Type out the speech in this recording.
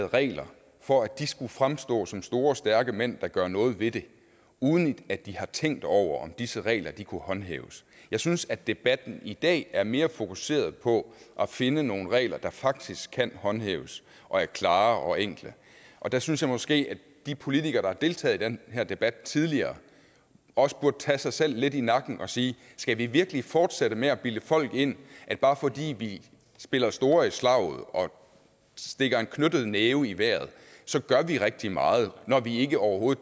regler for at fremstå som store stærke mænd der gør noget ved det uden at de har tænkt over om disse regler kan håndhæves jeg synes at debatten i dag er mere fokuseret på at finde nogle regler der faktisk kan håndhæves og er klare og enkle og der synes jeg måske at de politikere der har deltaget i den her debat tidligere også burde tage sig selv lidt i nakken og sige skal vi virkelig fortsætte med at bilde folk ind at bare fordi vi spiller store i slaget og stikker en knytnæve i vejret så gør vi rigtig meget når vi overhovedet